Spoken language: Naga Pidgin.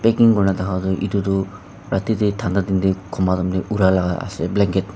packing kora thaka tu etu tu rati te thanda din te kunba temte ura laga ase.